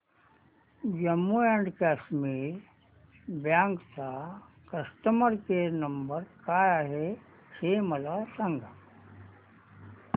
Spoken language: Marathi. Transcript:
जम्मू अँड कश्मीर बँक चा कस्टमर केयर नंबर काय आहे हे मला सांगा